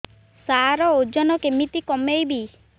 ସାର ଓଜନ କେମିତି କମେଇବି